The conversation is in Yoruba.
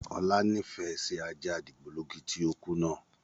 Ọlá nifẹ síí ajá dìgbòlugi tí ó kú náà